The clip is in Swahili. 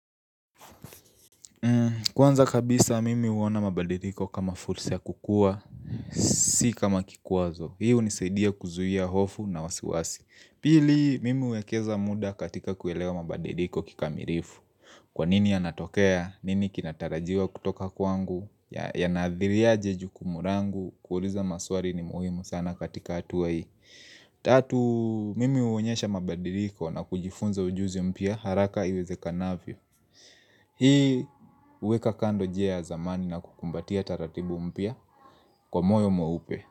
Kwanza kabisa mimi huona mabadiriko kama fursa kukua, si kama kikuwazo. Hii hunisaidia kuzuhia hofu na wasiwasi. Pili mimi uwekeza muda katika kuelewa mabadiriko kikamirifu. Kwanini yanatokea, nini kinatarajiwa kutoka kwangu, yanaadhiria aje jukumu langu, kuuliza maswali ni muhimu sana katika hatuwa hii. Tatu mimi huonyesha mabadiriko na kujifunza ujuzi mpia haraka iweze kanavyo Hii huweka kando njia ya zamani na kukumbatia taratibu mpya kwa moyo mweupe.